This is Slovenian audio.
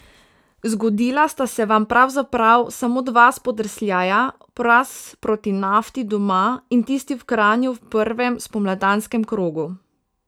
Zgodila sta se vam pravzaprav samo dva spodrsljaja, poraz proti Nafti doma in tisti v Kranju v prvem spomladanskem krogu.